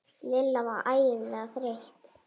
Lilla var ægilega þreytt.